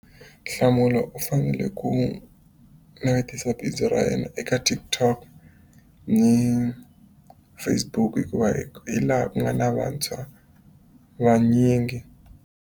Nhlamulo u fanele ku navetisa bindzu ra yena eka TikTok ni Facebook hikuva hi hi laha ku nga na vantshwa vanyingi.